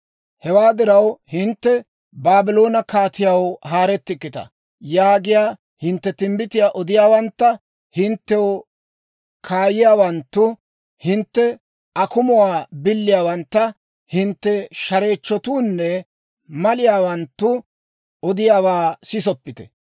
Hewaa diraw, hinttena, Baabloone kaatiyaw haarettikkita yaagiyaa hintte timbbitiyaa odiyaawantta, hinttew kaayiyaawanttu, hintte akumuwaa biliyaawantta, hintte shareechchotuunne maliyaawanttu odiyaawaa sisoppite.